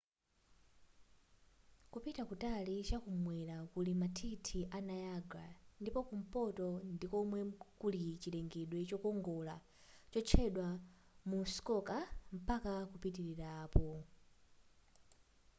kupita kutali chakumwera kuli mathithi a niagara ndipo kumpoto ndikomwe kuli chilengedwe chokongola chotchedwa muskoka mpaka kupitilira apo